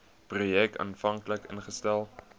projek aanvanklik ingestel